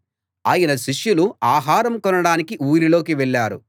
ఆయన శిష్యులు ఆహారం కొనడానికి ఊరిలోకి వెళ్ళారు